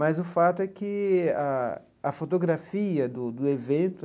Mas o fato é que a a fotografia do do evento